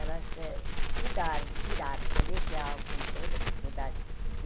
Elas eh estudaram, tiraram o colegial com toda dificuldade.